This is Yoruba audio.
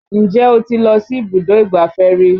Ǹjẹ́ o ti lọ sí ibùdó ìgbáfẹ́ rí?